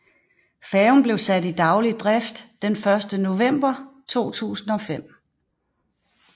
Færgen blev sat i daglig drift den 1 november 2005